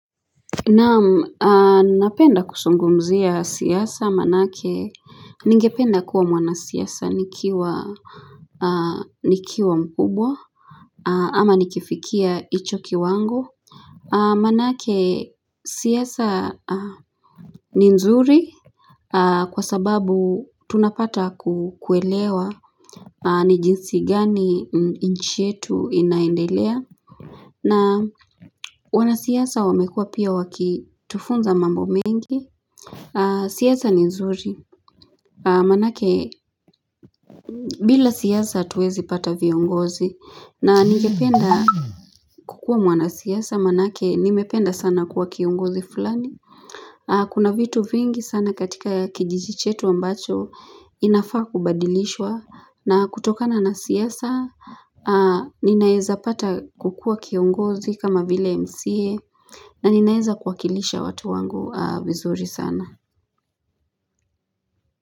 Na napenda kusungumzia siyasa manake ningependa kuwa mwana siyasa nikiwa mpubwa ama nikifikia icho kiwangu. Manake siyasa ni nzuri kwa sababu tunapata kukuelewa ni jinsi gani nchietu inaendelea na wana siyasa wamekua pia wakitufunza mambo mengi. Siyasa ni nzuri manake bila siyasa tuwezi pata viongozi na nigependa kukua mwana siyasa manake nimependa sana kuwa kiongozi fulani Kuna vitu vingi sana katika kijijichetu ambacho inafaa kubadilishwa na kutokana na siasa Ninaeza pata kukua kiongozi kama vile mca na ninaeza kuwakilisha watu wangu vizuri sana.